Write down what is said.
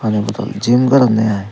pani bottle gym goronne ai.